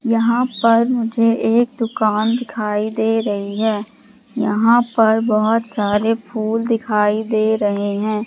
यहां पर मुझे एक दुकान दिखाई दे रही है यहां पर बहोत सारे फूल दिखाई दे रहे हैं।